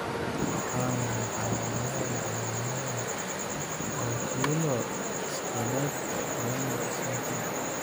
Waa maxay calaamadaha iyo calaamadaha Oculo skeletal renal syndrome?